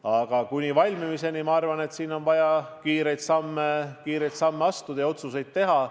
Aga kuni valmimiseni, ma arvan, on siin vaja kiireid samme astuda ja otsuseid teha.